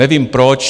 Nevím proč.